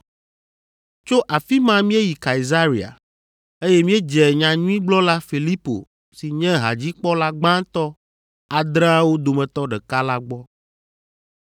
Tso afi ma míeyi Kaesarea, eye míedze nyanyuigblɔla Filipo si nye hadzikpɔla gbãtɔ adreawo dometɔ ɖeka la gbɔ.